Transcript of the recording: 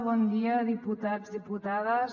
bon dia diputats i diputades